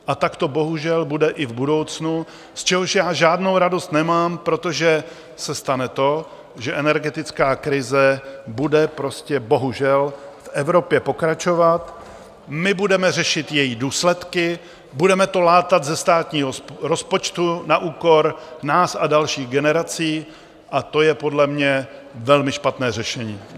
A tak to bohužel bude i v budoucnu, z čehož já žádnou radost nemám, protože se stane to, že energetická krize bude prostě bohužel v Evropě pokračovat, my budeme řešit její důsledky, budeme to látat ze státního rozpočtu na úkor nás a dalších generací a to je podle mě velmi špatné řešení.